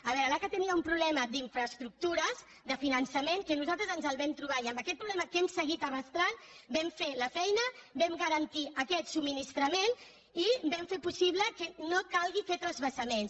a veure l’aca tenia un problema d’infraestructures de finançament que nosaltres ens el vam trobar i amb aquest problema que hem seguit arrossegant vam fer la feina vam garantir aquest subministrament i vam fer possible que no calgués fer transvasaments